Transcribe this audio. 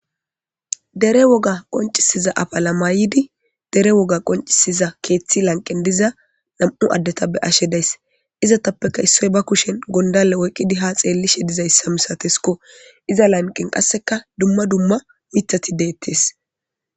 Dere woga qonccisiza afala mayidi dere woga qonccisiza keethi lanqqen diza nam'u addeta be'ashe days. Izetappekka issoy ba kushen gonddalle oykkidi ha xeelishe dizayssa masateesko iza lanqqen qasseka dumma dumma miththati de'etes.